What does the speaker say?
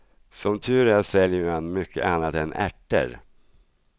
Som tur är säljer man mycket annat än ärter.